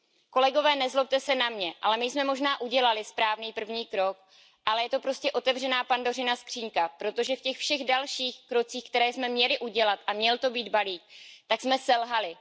Kolegové, nezlobte se na mě, ale my jsme možná udělali správný první krok, ale je to prostě otevřená Pandořina skříňka, protože v těch všech dalších krocích, které jsme měli udělat, a měl to být balík, tak jsme selhali.